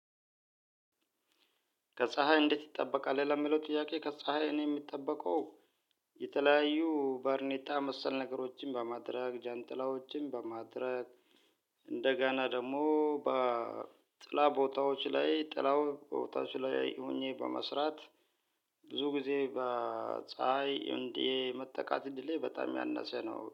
ከፀሀይ እንዴት ይጠበቃል? ለሚለው ጥያቄ ከፀሀይ እኔ የምጠበቀው የተለያዩ ባርኔጣ መሰል ነገሮችን በማድረግ፣ ጃንጥላዎችን በማድረግ እንደገና ደግሞ በጥላ ቦታዎች ላይ ጥላ ቦታዎች ላይ ሆኜ በመስራት ብዙ ጊዜ በፀሀይ እንዲህ መጠቃት እድሌ በጣም ያነሰ ነው።